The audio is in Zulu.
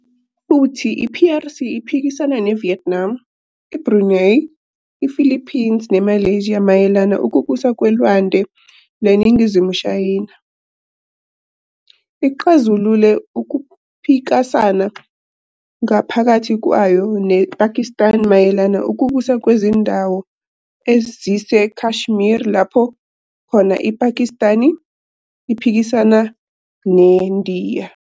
Futhi i-PRC iphikisana neVietnam, iBrunei, iPhilippines neMalaysia mayelana ukubusa kweLwande leNingizimu Shayina. Ixazulule ukuphikasana ngaphakathi kwayo nePhakistani mayelana ukubusa kwezindawo eziseKashmir lapho khona iPhakistani iphikisana neNdiya.